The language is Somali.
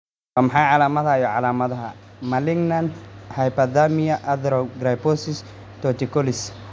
Waa maxay calaamadaha iyo calaamadaha Malignant hyperthermia arthrogryposis torticollis?